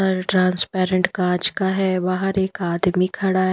घर ट्रांसपेरेंट काँच का है बाहर एक आदमी खड़ा है।